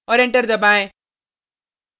और enter दबाएँ